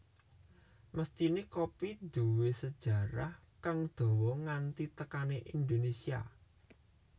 Mesthiné kopi duwé sejarah kang dawa nganti tekané Indonésia